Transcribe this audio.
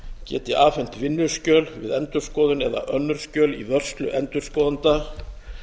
geti afhent vinnuskjöl við endurskoðun eða önnur skjöl í vörslu endurskoðenda